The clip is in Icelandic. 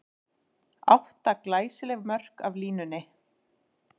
Átta glæsileg mörk af línunni!